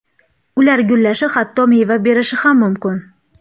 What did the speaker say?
Ular gullashi, hatto meva berishi ham mumkin.